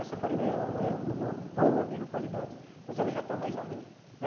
Essa farinha aí não é de uma boa mesma qualidade, mas ela já está mais ou menos.